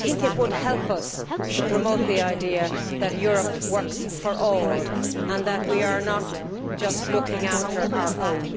I think it would help us to promote the idea that Europe works for all and that we are not just looking after our own.